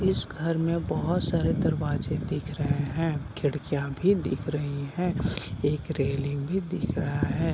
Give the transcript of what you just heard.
इस घर में बहोत सारे दरवाजे दिख रहे है खिड़कियाँ भी दिख रही है एक रेलिंग भी दिख रहा है ।